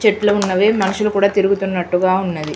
చెట్లు ఉన్నవి మనుషులు కూడా తిరుగుతునట్లుకూడా ఉన్నది.